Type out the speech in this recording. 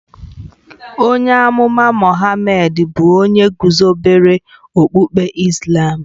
Onye amụma Mohammed bụ onye guzobere okpukpe Islàm